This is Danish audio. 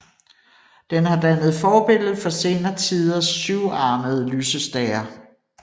Den har dannet forbillede for senere tiders syvarmede lysestager